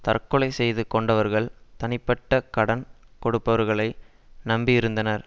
தற்கொலை செய்து கொண்டவர்கள் தனிப்பட்ட கடன் கொடுப்பவர்களை நம்பியிருந்தனர்